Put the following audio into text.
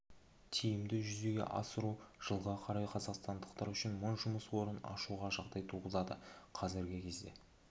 тиімді жүзеге асыру жылға қарай қазақстандықтар үшін мың жұмыс орнын ашуға жағдай туғызады қазіргі кезде